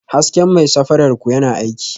Hasken mai safarar ku yana aiki?